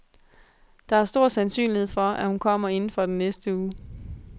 Der er stor sandsynlighed for, at hun kommer inden for den næste uge.